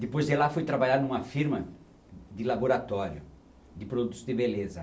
Depois de lá, fui trabalhar em uma firma de laboratório de produtos de beleza.